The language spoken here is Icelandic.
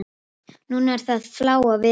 Núna er það Fláa veröld.